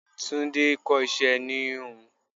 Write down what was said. Tunde kọ́ iṣẹ́ ẹni íhùn íhùn.